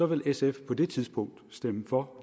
vil sf på det tidspunkt stemme for